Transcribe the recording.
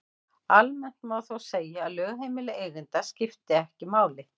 Almennt má þó segja að lögheimili eiganda skipti ekki máli.